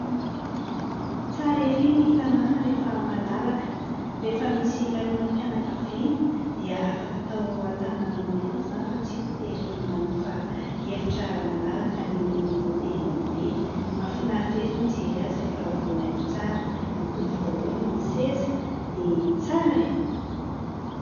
Tsara ery ny tanàna rehefa malalaka. Rehefa misy lanonana mpianakaviana dia afaka atao an-tanàna anao ihany izany fa tsy voatery manofa efitra malalaka any amin'ny hotely lehibe. Mahafinaritra ery mijery azy rehefa voahaingo tsara. Mitovy daholo ny seza dia tsara e !